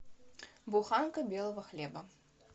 буханка белого хлеба